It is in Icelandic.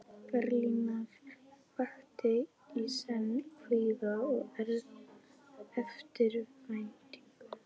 Berlínar vakti í senn kvíða og eftirvæntingu.